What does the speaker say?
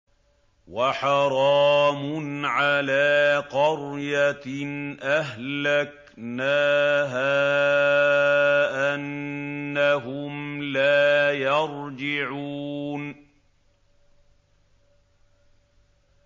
وَحَرَامٌ عَلَىٰ قَرْيَةٍ أَهْلَكْنَاهَا أَنَّهُمْ لَا يَرْجِعُونَ